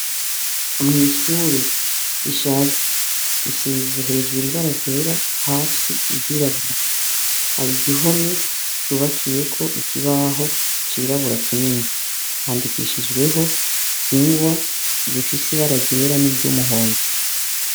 Mw' ishure rishaje risize hejuru ibara ryera hasi iryirabura hari igihome cubakiyeko ikibaho cirabura kinini handikishijweho ingwa ifise ibara ryera n' iryumuhondo.